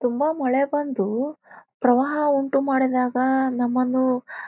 ತುಂಬಾ ಮಳೆ ಬಂದು ಪ್ರವಾಹ ಉಂಟು ಮಾಡಿದಾಗ ನಮ್ಮನ್ನು --